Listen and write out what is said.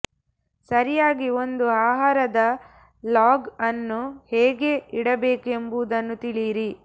ಸರಿಯಾಗಿ ಒಂದು ಆಹಾರದ ಲಾಗ್ ಅನ್ನು ಹೇಗೆ ಇಡಬೇಕು ಎಂಬುದನ್ನು ತಿಳಿಯಿರಿ